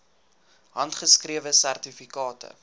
handgeskrewe sertifikate